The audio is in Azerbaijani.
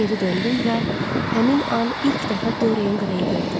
Geri döndüm və həmin an ilk dəfə Dorian Greyi gördüm.